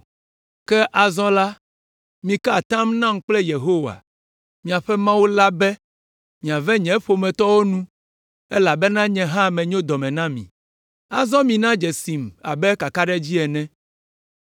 Ke azɔ la, mika atam nam kple Yehowa, miaƒe Mawu la be miave nye ƒometɔwo nu, elabena nye hã menyo dɔ me na mi. Azɔ mina dzesim abe kakaɖedzi ene,